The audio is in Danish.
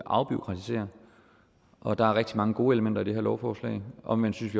afbureaukratisere og der er rigtig mange gode elementer i det her lovforslag omvendt synes